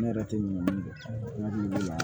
Ne yɛrɛ tɛ ɲina min kɔ n y'a la